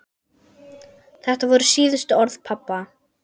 Þetta voru síðustu orð pabba.